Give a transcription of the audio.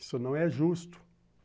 Isso não é justo.